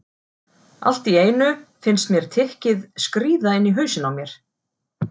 Allt í einu finnst mér tikkið skríða inn í hausinn á mér.